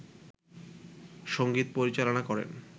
সঙ্গীত পরিচালনা করেন